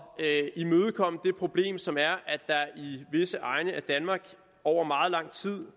at imødegå det problem som er at der i visse egne af danmark over meget lang tid